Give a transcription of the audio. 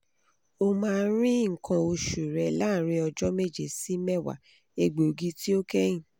omaa ri nkan osu re laarin ọjọ meje si mewa egbogi ti o kẹhin